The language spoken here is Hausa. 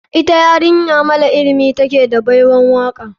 Ita yarinya mara ilimi ta take da baiwan waka.